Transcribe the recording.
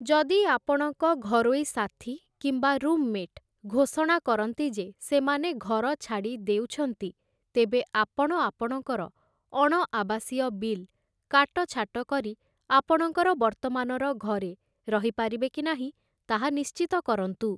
ଯଦି ଆପଣଙ୍କ ଘରୋଇ ସାଥୀ କିମ୍ବା ରୁମ୍‌ମେଟ୍ ଘୋଷଣା କରନ୍ତି ଯେ ସେମାନେ ଘର ଛାଡ଼ିଦେଉଛନ୍ତି, ତେବେ ଆପଣ ଆପଣଙ୍କର ଅଣ ଆବାସୀୟ ବିଲ୍‌ କାଟଛାଟ କରି ଆପଣଙ୍କର ବର୍ତ୍ତମାନର ଘରେ ରହିପାରିବେ କି ନାହିଁ ତାହା ନିଶ୍ଚିତ କରନ୍ତୁ ।